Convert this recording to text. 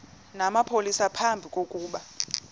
namapolisa phambi kokuba